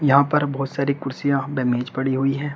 यहां पर बहुत सारी कुर्सियां व मेज पड़ी हुई है।